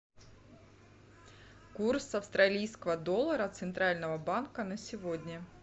курс австралийского доллара центрального банка на сегодня